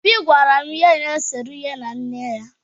Obi gwara m ihe na-esere ya na nne ya.